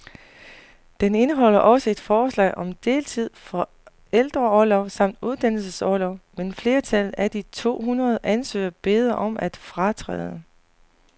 Den indeholder også forslag om deltid, forældreorlov samt uddannelsesorlov, men flertallet af de to hundrede ansøgere beder om at fratræde.